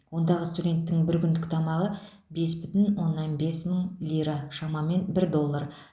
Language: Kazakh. ондағы студенттің бір күндік тамағы бес бүтін оннан бес мың лира шамамен бір доллар